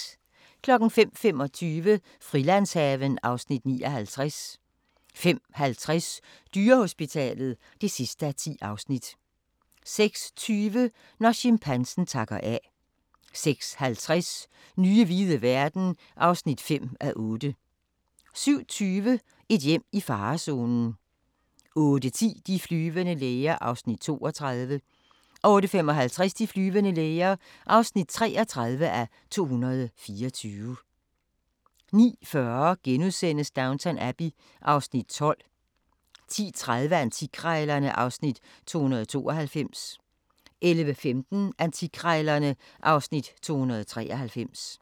05:25: Frilandshaven (Afs. 59) 05:50: Dyrehospitalet (10:10) 06:20: Når chimpansen takker af 06:50: Nye hvide verden (5:8) 07:20: Et hjem i farezonen 08:10: De flyvende læger (32:224) 08:55: De flyvende læger (33:224) 09:40: Downton Abbey (Afs. 12)* 10:30: Antikkrejlerne (Afs. 292) 11:15: Antikkrejlerne (Afs. 293)